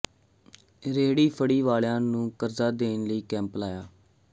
ਰੇਹੜੀ ਫੜ੍ਹੀ ਵਾਲਿਆਂ ਨੂੰ ਕਰਜ਼ਾ ਦੇਣ ਲਈ ਕੈਂਪ ਲਾਇਆ